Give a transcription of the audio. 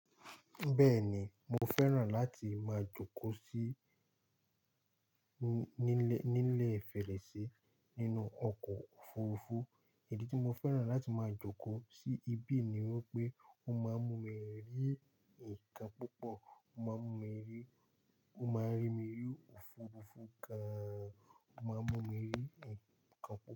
Bẹ́ẹ̀ni, mo fẹ́ràn láti máa jókòó sí ní-nílè-nílẹ̀ Fẹ́rẹ̀ṣẹ nínú ọkọ̀ òfurufú. Ìdí tí mo fẹ́ràn láti máa jókòó sí ibí ni wípé ó máa mú mi rí nǹkan púpọ̀, ó máa mú mi rí, ó máa rí mi rí òfurufú gan-an, ó máa mú mi rí ǹkan púpọ̀